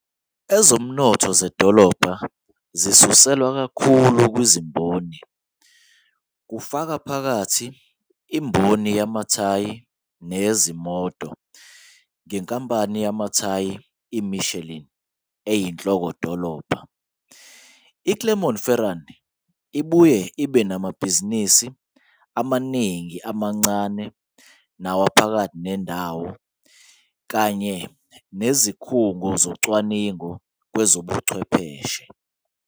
Ezomnotho zedolobha zisuselwa kakhulu kwezimboni, kufaka phakathi imboni yamathayi neyezimoto, ngenkampani yamathayi iMichelin eyinhloko-dolobha. IClermont-Ferrand ibuye ibe namabhizinisi amaningi amancane nawaphakathi nendawo, kanye nezikhungo zocwaningo nezobuchwepheshe.